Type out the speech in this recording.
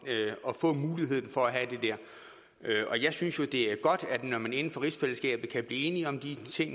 at få muligheden for at have det og jeg synes jo det er godt når man inden for rigsfællesskabet kan blive enige om de